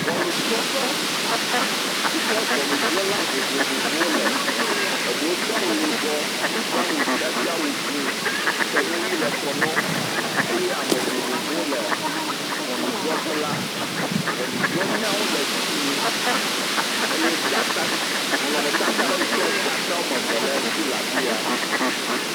Ŋɔnudrɔ̃ƒe yi ke ŋɔnudrɔ̃la vovovowo le, eɖewo doa awu yibɔ, hedoa awu dzĩ kɔnu ʋi le kɔ na wo eye ame vovovowo le ŋɔnudrɔ̃ƒe la, ŋɔnudrɔ̃nyawo le dzi yim. Eye dzata, nɔnɔmetata yi ke dzata woameve le dzi le afi ya.